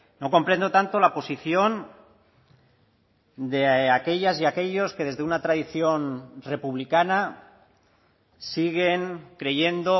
no comprendo tanto la posición de aquellas y aquellos que desde una tradición republicana siguen creyendo